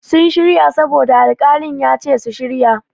Sun shirya saboda alƙalin ya ce su shirya.